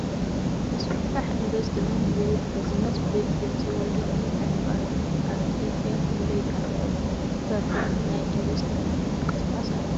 ምስፍሕፋሕ ኢንቨስትመንት ዝብል ቢዝነስ ብ ድምፂ ወያነ ይሓልፍ ኣሎ ። ኣብ ኢትዮጵያ ክንደይ ዝኣክል ፕርሰንት ናይ ኢንቨስትመንት ምንቅስቃስ ኣሎ ?